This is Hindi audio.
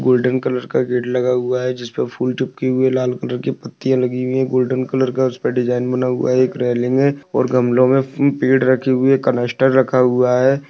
गोल्डन कलर का गेट लगा हुआ है जिसपे फूल चिपकी हुई है लाल कलर की पत्तियाॅं लगी हुई है गोल्डन कलर का उसपे डिजाइन बना हुआ है एक रेलिंग है और गमलों में पेड़ रखी हुए है कनस्तर रखा हुआ है।